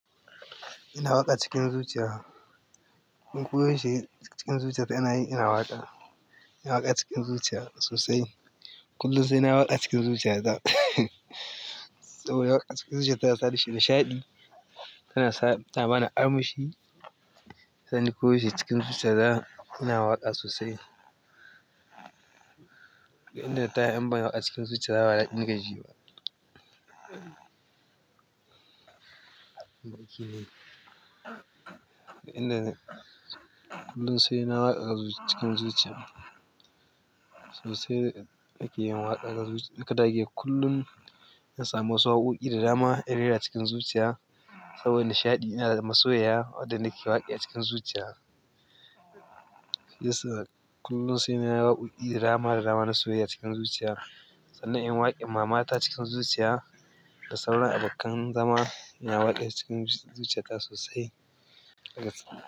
Ina waƙa cikin zuciya. Kun kuje shi cikin zuciyata ina yi, ina waƙa. Ina waƙa cikin zuciya sosai. Kullum sai nayi waƙa a cikin zuciya. Saboda haka a cikin zuciya ta sani nishaɗi. Tana sa, tana bani armashi. Shiyasa ni ko yaushe cikin zuciyata ina waƙa sosai. Ina tahin ba a cikin zuciyana ba daɗi nakeji ba kullum sai nayi waƙa a cikin zuciyata sosai ake yin waƙa. Ka dage kullum na samu wasu waƙoƙi da dama in rera cikin zuciya saboda nishaɗi ina da masoyiya wanda nake waƙe a cikin zuciya. Shiyasa kullum sai na yi waƙoƙi da dama da dama na soyayya cikin zuciya. Sannan in waƙe mamata cikin zuciya da sauran abokan zama ina waƙesu cikin zuciya ta sosai.